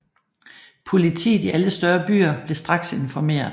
Politiet i alle større danske byer blev straks informeret